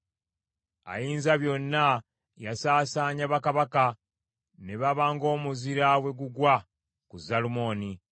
Ayinzabyonna yasaasaanya bakabaka, ne baba ng’omuzira bwe gugwa ku Zalumoni.